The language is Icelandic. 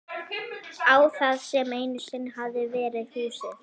Á það sem einu sinni hafði verið húsið.